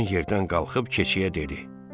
Qoyun yerdən qalxıb keçiyə dedi.